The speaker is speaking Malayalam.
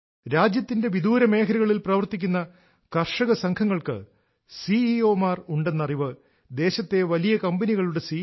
രാജ്യത്തിന്റെ വിദൂര മേഖലകളിൽ പ്രവർത്തിക്കുന്ന കർഷക സംഘങ്ങൾക്ക് സിഇഒമാർ ഉണ്ടെന്ന അറിവ് ദേശത്തെ വലിയ കമ്പനികളുടെ സി